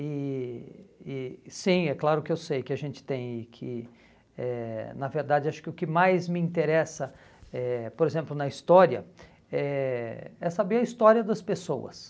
E e sim, é claro que eu sei que a gente tem e que, eh na verdade, acho que o que mais me interessa, eh por exemplo, na história, eh é saber a história das pessoas.